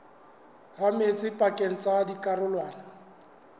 ha metsi pakeng tsa dikarolwana